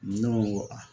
Ne ko n ko aa